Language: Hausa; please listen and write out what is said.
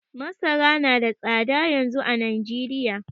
Masara nada tsada yanzu a Najeriya